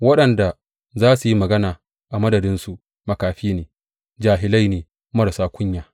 Waɗanda za su yi magana a madadinsu makafi ne; jahilai ne, marasa kunya.